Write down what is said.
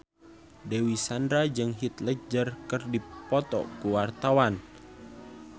Dewi Sandra jeung Heath Ledger keur dipoto ku wartawan